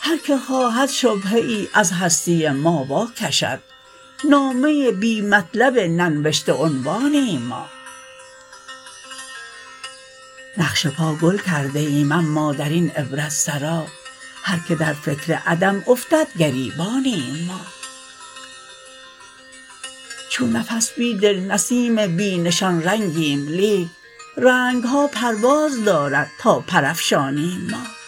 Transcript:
هرکه خواهد شبهه ای از هستی ما واکشد نامه بی مطلب ننوشته عنوانیم ما نقش پا گل کرده ایم اما درین عبرتسرا هرکه در فکر عدم افتدگریبانیم ما چون نفس بیدل نسیم بی نشان رنگیم لیک رنگها پرواز دارد تا پرافشانیم ما